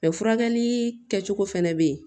furakɛli kɛcogo fɛnɛ be yen